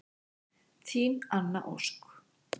Þín Anna Ósk.